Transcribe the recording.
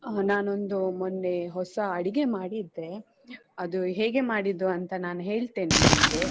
ಅಹ್ ನಾನೊಂದು ಮೊನ್ನೆ ಹೊಸ ಅಡಿಗೆ ಮಾಡಿದ್ದೆ ಅದು ಹೇಗೆ ಮಾಡಿದ್ದು ಅಂತ ನಾನು ಹೇಳ್ತೇನೆ ನಿಮ್ಗೆ.